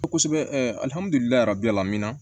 Kosɛbɛ